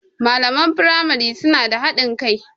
Malaman firamari suna da haɗin kai.